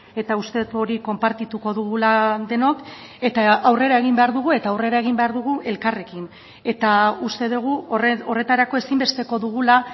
eta uste dut hori konpartituko dugula denok eta aurrera egin behar dugu eta aurrera egin behar dugu elkarrekin eta uste dugu horretarako ezinbesteko dugula